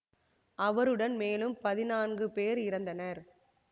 அவருடன் மேலும் பதினான்கு பேர் இறந்தனர்